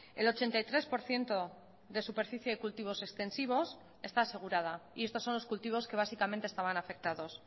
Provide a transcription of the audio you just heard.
el ochenta y tres por ciento de superficie de cultivos extensivos está asegurada y estos son los cultivos que básicamente estaban afectados